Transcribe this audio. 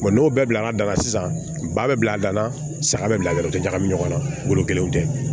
n'o bɛɛ bila da la sisan ba bɛ bila da la saga bɛ bila yɔrɔ ɲagami ɲɔgɔn na wolo kelen tɛ